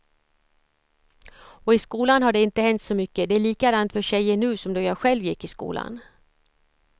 Och i skolan har det inte hänt så mycket, det är likadant för tjejer nu som då jag själv gick i skolan.